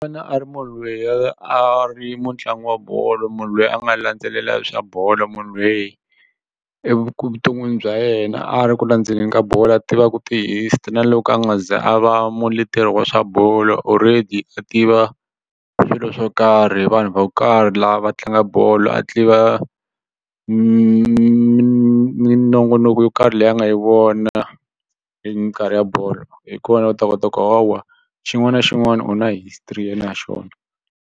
U fanele a ri munhu loyi a ri mutlangi wa bolo munhu loyi a nga landzelelangi swa bolo munhu loyi evuton'wini bya yena a ri ku landzeleleni ka bolo a tivaku ti-history na loko a nga ze a va muleteri wa swa bolo already a tiva swilo swo karhi vanhu vo karhi lava tlangaka bolo a tiva minongonoko yo karhi leyi a nga yi vona hi minkarhi ya bolo hi kona u ta kota ku hawa xin'wana na xin'wana u na history ya xona.